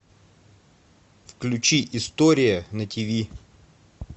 включи история на тв